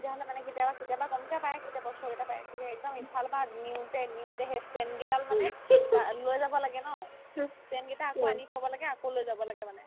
তেতিয়াহ'লে মানে কেতিয়াবা কেতিয়াবা কমকে পাই কেতিয়াবা উচ্চতে পাই তেতিয়া একদম ইফালৰ পাই নিওতে নিওতে সেই stand কেইডাল মানে অ লৈ যাব লাগে ন stand কেইটা আকৌ আনিব থ'ব লাগে আকৌ লৈ যাব লাগে মানে